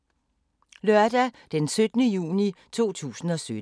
Lørdag d. 17. juni 2017